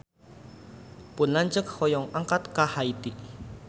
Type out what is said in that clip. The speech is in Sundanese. Pun lanceuk hoyong angkat ka Haiti